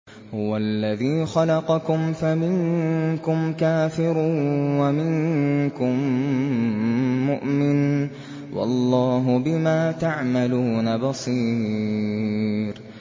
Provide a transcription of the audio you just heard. هُوَ الَّذِي خَلَقَكُمْ فَمِنكُمْ كَافِرٌ وَمِنكُم مُّؤْمِنٌ ۚ وَاللَّهُ بِمَا تَعْمَلُونَ بَصِيرٌ